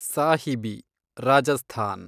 Sahibi, Rajasthan